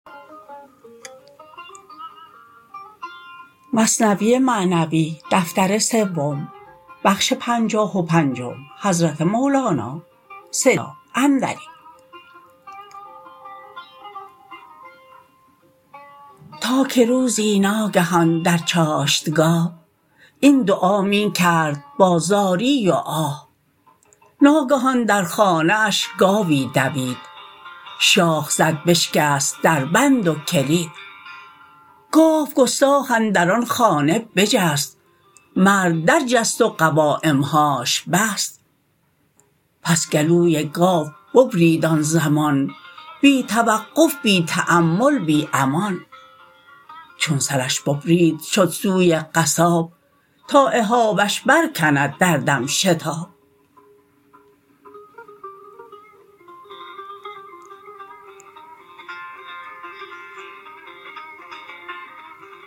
تا که روزی ناگهان در چاشتگاه این دعا می کرد با زاری و آه ناگهان در خانه اش گاوی دوید شاخ زد بشکست دربند و کلید گاو گستاخ اندر آن خانه بجست مرد در جست و قوایمهاش بست پس گلوی گاو ببرید آن زمان بی توقف بی تامل بی امان چون سرش ببرید شد سوی قصاب تا اهابش بر کند در دم شتاب